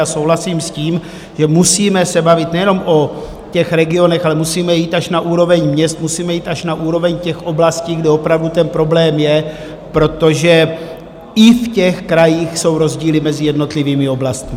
A souhlasím s tím, že se musíme bavit nejenom o těch regionech, ale musíme jít až na úroveň měst, musíme jít až na úroveň těch oblastí, kde opravdu ten problém je, protože i v těch krajích jsou rozdíly mezi jednotlivými oblastmi.